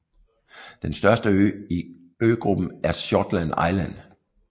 Den største ø I øgruppen er Shortland Island